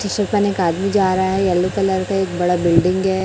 एक आदमी जा रहा है येलो कलर का एक बड़ा बिल्डिंग है।